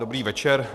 Dobrý večer.